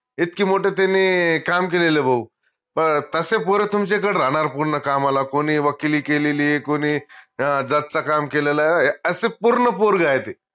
इतकी मोठं त्यांनी काम केलेलय भाऊ तशे पोर तुमच्याकडं राहनार पूर्ण कामाला कोनी वकिली केलेलीय कोनी जास्त काम केलेलंय अस पूर्ण पोरग आहे ते